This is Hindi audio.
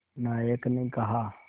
नायक ने कहा